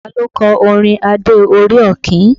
Ta ló kọ orin Adé orí Ọ̀kín?